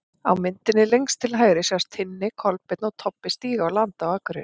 Á myndinni lengst til hægri sjást Tinni, Kolbeinn og Tobbi stíga á land á Akureyri.